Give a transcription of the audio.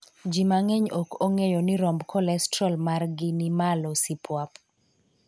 Jii mang'eny ok ong'eyo ni romb kolestrol margi ni malo sipuap